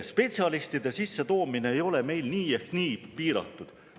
Spetsialistide sissetoomine ei ole meil nii ehk nii piiratud.